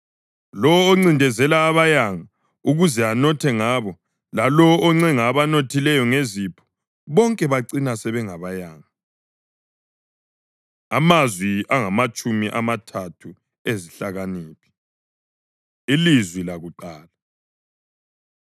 Lowo oncindezela abayanga ukuze anothe ngabo, lalowo oncenga abanothileyo ngezipho, bonke bacina sebengabayanga. Amazwi Angamatshumi Amathathu Ezihlakaniphi Ilizwi Lakuqala